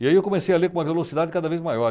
E aí eu comecei a ler com uma velocidade cada vez maior.